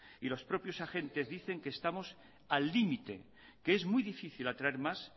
y los propios agentes dicen que estamos al límite que es muy difícil atraer más